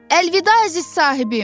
Əlvida əziz sahibim.